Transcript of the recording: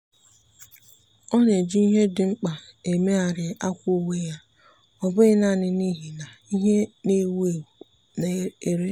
ọ́ na-eji ìhè ndị dị mkpa èmégharị akwà uwe yá ọ́ bụ́ghị́ nāànị́ n’íhì nà ìhè nà-èwú éwú nà-èré.